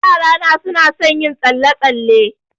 Yarana suna son yin tsalle-tsalle.